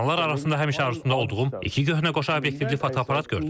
Satılanlar arasında həmişə arzusunda olduğum iki köhnə qoşa obyektivli fotoaparat gördüm.